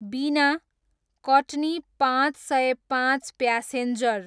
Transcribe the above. बिना, कट्नी पाँच सय पाँच प्यासेन्जर